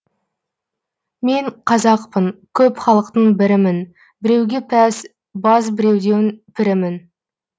мен қазақпын көп халықтың бірімін біреуге пәс баз біреудің пірімін